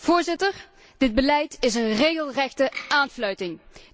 Voorzitter, dit beleid is een regelrechte aanfluiting.